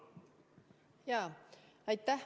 Aitäh!